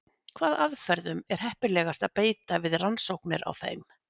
Hvaða aðferðum er heppilegast að beita við rannsóknir á þeim?